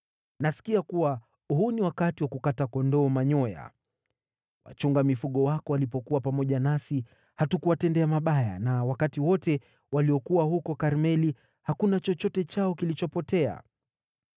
“ ‘Nasikia kuwa huu ni wakati wa kukata kondoo manyoya. Wachunga mifugo wako walipokuwa pamoja nasi, hatukuwatendea mabaya na wakati wote waliokuwa huko Karmeli hakuna chochote chao kilipotea.